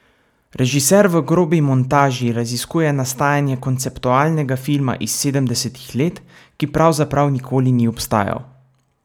Režiser v Grobi montaži raziskuje nastajanje konceptualnega filma iz sedemdesetih let, ki pravzaprav nikoli ni obstajal.